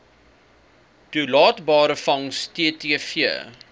toelaatbare vangs ttv